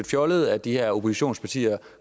fjollet at de her oppositionspartier